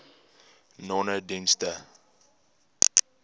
nonedienste